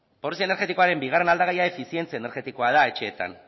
pobrezia energetikoaren bigarren aldagaia efizientzia energetikoa da etxeetan